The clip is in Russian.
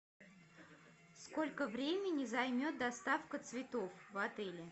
сколько времени займет доставка цветов в отеле